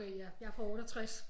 Okay ja jeg er fra 68